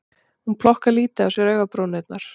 Hún plokkar lítið á sér augabrúnirnar